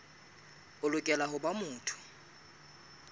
o lokela ho ba motho